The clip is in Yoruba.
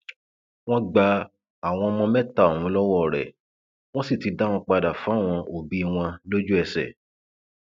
wọn gba àwọn ọmọ mẹta ọhún lọwọ rẹ wọn sì ti dá wọn padà fáwọn òbí wọn lójúẹsẹ